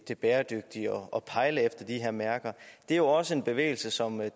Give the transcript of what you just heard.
det bæredygtige og pejle efter de her mærker det er også en bevægelse som